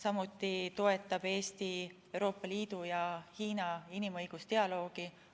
Eesti toetab ka Euroopa Liidu ja Hiina inimõigusdialoogi.